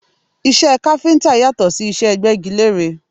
Iṣẹ́ káfíńtà yàtọ̀ sí iṣẹ́ agbẹ́gilére